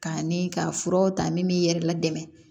K'a ni ka furaw ta min b'i yɛrɛ ladɛmɛ